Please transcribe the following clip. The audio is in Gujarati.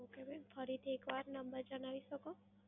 Okay mam. ફરીથી એક વાર number જણાવી શકો?